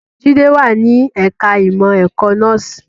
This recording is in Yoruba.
Jide wà ní ẹ̀ka ìmọ̀ ẹ̀kọ́ nọ́ọ̀sì